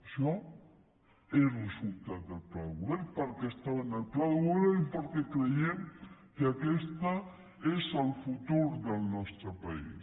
això és resultat del pla de govern perquè estava en el pla de govern i perquè creiem que aquesta és el futur del nostre país